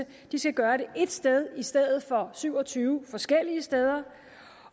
skal gøre det ét sted i stedet for syv og tyve forskellige steder